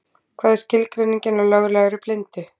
Hvað er skilgreiningin á löglegri blindu?